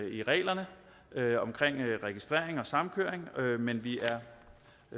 i reglerne omkring registrering og samkøring men vi er